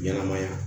Ɲɛnɛmaya